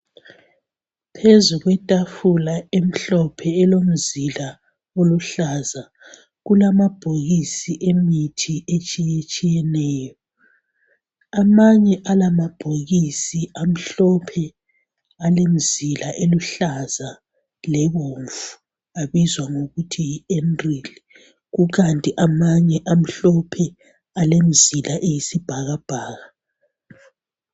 Phezulu kwetafula emhlophe elomzila oluhlaza kulamabhokisi emithi etshiyetshiyeneyo. Amanye alamabhokisi amhlophe alemzila eluhlaza lebomvu abizwa ngokuthi Enril kukanti amanye amhlophe alemzila eyisibhakabhaka.